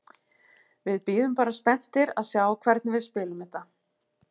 Við bíðum bara spenntir að sjá hvernig við spilum þetta.